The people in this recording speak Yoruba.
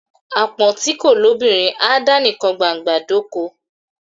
Àpọ́n ti kò lóbìnrin á dá nikàn gbágbọ̀n dóko.